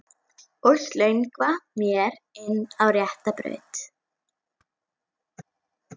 Og slöngva mér inn á rétta braut.